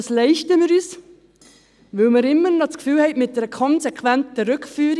Das leisten wir uns, weil wir immer noch das Gefühl haben, mit einer konsequenten Rückführung …